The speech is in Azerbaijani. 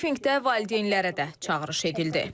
Brifinqdə valideynlərə də çağırış edildi.